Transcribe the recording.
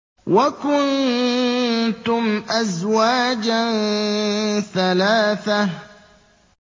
وَكُنتُمْ أَزْوَاجًا ثَلَاثَةً